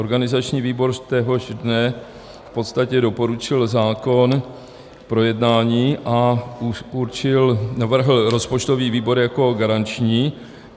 Organizační výbor téhož dne v podstatě doporučil zákon k projednání a navrhl rozpočtový výbor jako garanční.